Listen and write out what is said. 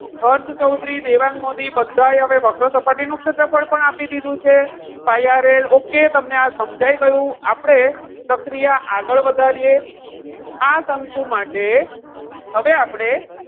હર્ષ ચૌધરી, દેવાંગ મોદી, બધા હવે વક્ર સપાટી નું ક્ષેત્રફળ પણ આપી દીધું છે પાય આર એ. okay તમને આ સમજાઈ ગયું. આપણે પ્રક્રિયા આગળ વધારીએ. આ શંકુ માટે હવે આપણે,